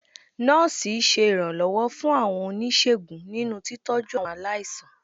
Nọ́ọ̀sì ṣe iranlọwọ fún àwọn onisegún ninú tíitọju awọn aláísàn.